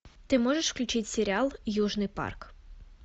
ты можешь включить сериал южный парк